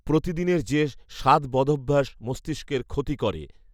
প্রতিদিনের যে সাত বদঅভ্যাস মস্তিষ্কের ক্ষতি করে